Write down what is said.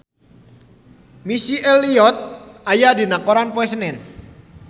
Missy Elliott aya dina koran poe Senen